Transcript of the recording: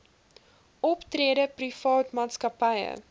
optrede private maatskappye